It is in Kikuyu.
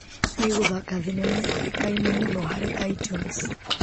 Niĩ gũthaka thinema yoĩkaine mũno harĩ itunes .